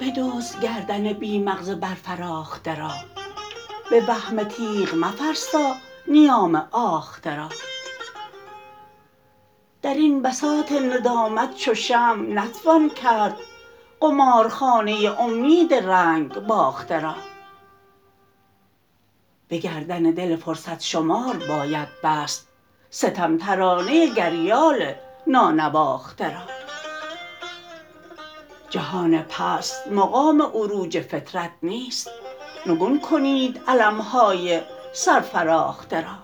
بدزدگردن بی مغز برفراخته را به وهم تیغ مفرسا نیام آخته را در این بساط ندامت چو شمع نتوان کرد قمارخانه امید رنگ باخته را به گردن دل فرصث شمار باید بست ستم ترانه گریال نانواخته را جهان پسث مقام عروج فطرت نیست نگون کنید علم های سرفراخته را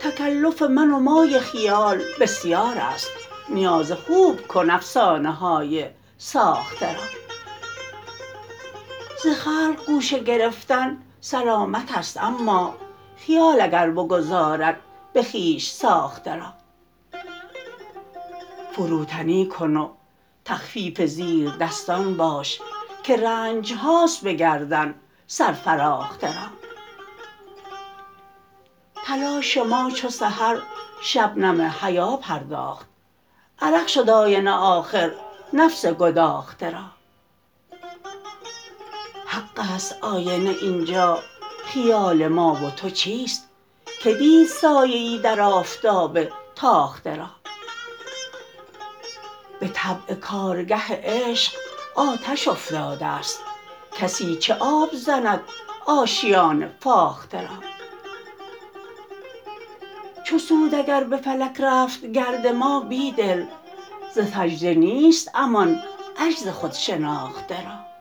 تکلف من و مای خیال بسیار است نیاز خوب کن افسانه های ساخته را ز خلق گوشه گرفتن سلامت است اما خیال اگر بگذارد به خویش ساخته را فروتنی کن و تخفیف زیرد ستان باش که رنجهاست به گردن سر فراخته را تلاش ما چوسحرشبنم حیا پرداخت عرق شد آینه آخر نفس گداخته را حق است آینه ا ینجا خیال ما وتو چیست که دید سایه در آفتاب تاخته را به طبع کارگه عشق آتش افتاده است کسی چه آب زند آشیان فاخته را چوسود اگربه فلک رفت گرد ما بیدل ز سجده نیست امان عجز خودشناخته را